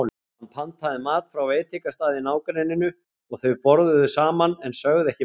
Hann pantaði mat frá veitingastað í nágrenninu og þau borðuðu saman en sögðu ekki margt.